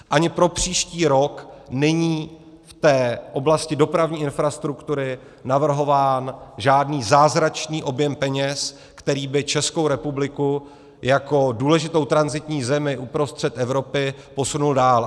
Ani pro příští rok není v té oblasti dopravní infrastruktury navrhován žádný zázračný objem peněz, který by Českou republiku jako důležitou tranzitní zemi uprostřed Evropy posunul dál.